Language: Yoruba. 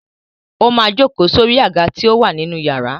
Ó máa jókòó sórí àga tí ó wà ní inú iyàrá.